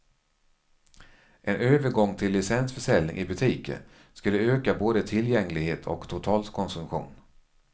En övergång till licensförsäljning i butiker skulle öka både tillgänglighet och totalkonsumtion.